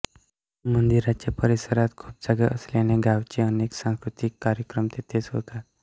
मंदिराच्या परिसरात खूप जागा असल्याने गावचे अनेक सांस्कृतिक कार्यक्रम तेथेच होतात